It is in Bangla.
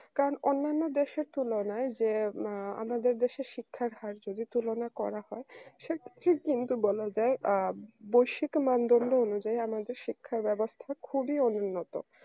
কারণ অন্যান্য দেশের তুলনায় যে উম আ আমাদের দেশের শিক্ষার হার যদি তুলনা করা হয় সেটা ঠিক কিন্তু বলা যায় আ বসিক মানদণ্ড অনুযায়ী আমাদের শিক্ষা ব্যবস্থাটা খুবই অনুন্নত